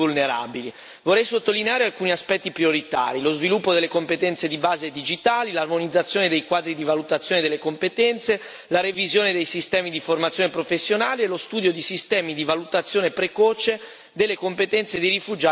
Vorrei sottolineare alcuni aspetti prioritari lo sviluppo delle competenze di base digitali, l'armonizzazione dei quadri di valutazione delle competenze, la revisione dei sistemi di formazione professionale, lo studio di sistemi di valutazione precoce delle competenze dei rifugiati e degli immigrati.